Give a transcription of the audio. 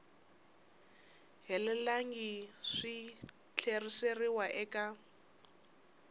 helelangiku swi ta tlheriseriwa eka